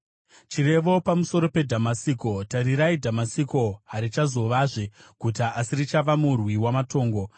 Chirevo pamusoro peDhamasiko: “Tarirai, Dhamasiko harichazovazve guta, asi richava murwi wamatongo.